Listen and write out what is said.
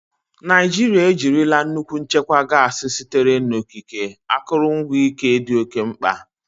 Naijiria ejirila nnukwu nchekwa gasi sitere n'okike, akụrụngwa ike dị oke mkpa.